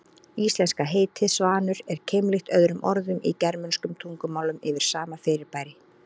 Íslenska heitið svanur er keimlíkt öðrum orðum í germönskum tungumálum yfir sama fyrirbæri.